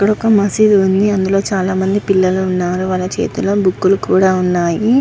ఇక్కడ ఒక మస్జిద్ వుంది. చాల మంది పిల్లలు వున్నారు. వాళ్ళ చేతుల్లో బూక్లు కూడా వున్నాయి.